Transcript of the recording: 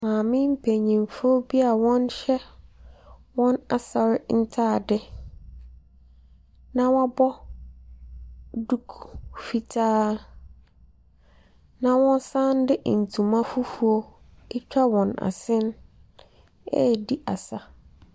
Maame mpenyimfo a wɔhyɛ wɔn asɔr ntaade na wɔabɔ duku fitaa na wɔsan de ntoma fufuo atwa wɔn asen redi asa.